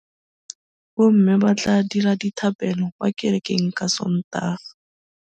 Bommê ba tla dira dithapêlô kwa kerekeng ka Sontaga.